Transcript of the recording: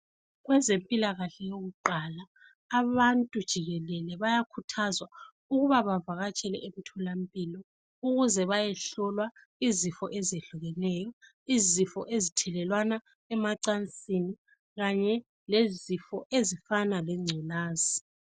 Kwezempilakahle yokulala abantu jikelele bayakhuthazwa ukuba bavakatshele emtholampilo ukuze bayehlolwa izifo ezehlukeneyo. Izifo ezithelelwana emacansini lezifo ezifana lengculaza.